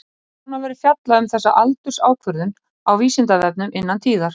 Nánar verður fjallað um þessa aldursákvörðun á Vísindavefnum innan tíðar.